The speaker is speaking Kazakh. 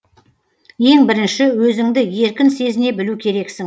ең бірінші өзіңді еркін сезіне білу керексің